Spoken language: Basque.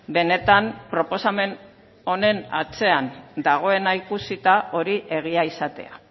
benetan proposamen honen atzean dagoena ikusita hori egia izatea